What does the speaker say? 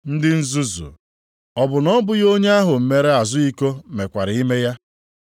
Ndị nzuzu! Ọ bụ na ọ bụghị onye ahụ mere azụ iko mekwara ime ya?